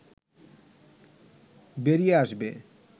বেরিয়ে আসবে